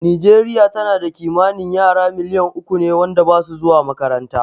Nijeriya tana da kimanin yara miliyan uku ne wanda basu zuwa makaranta